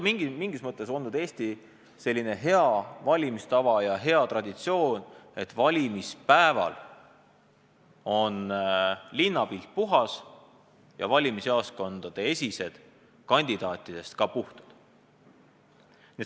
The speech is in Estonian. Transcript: Mingis mõttes on Eestis olnud heaks valimistavaks ja heaks traditsiooniks, et valimispäeval on linnapilt puhas ja valimisjaoskondade esised kandidaatidest puhtad.